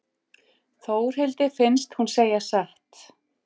Þórhildi finnst hún segja satt.